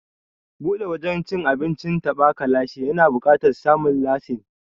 Buɗe wajen cin abincin taɓa ka lashe ya na buƙatar samun lasin.